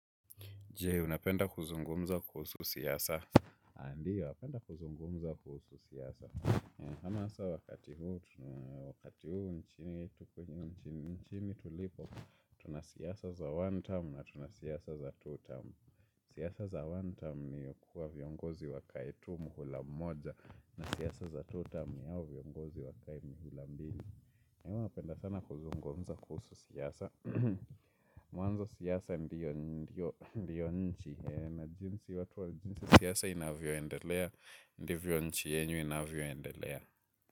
Jee, unapenda kuzungumza kuhusu siasa. Ndio, napenda kuzungumzia kuhusu siyasa. Ama sa wakati huu, wakati huu nchini tulipo, tuna siasa za one term na tuna siyasa za two term. Siyasa za one time ni kuwa viongozi wakai tu mhula mmoja na siyasa za two time ni hao viongozi wakai mihila mdini. Na huwa napenda sana kuzungumza kuhusu siyasa. Mwanzo siyasa ndiyo nchi siyasa inavyoendelea. Ndiyo nchi yenyu inavyoendelea.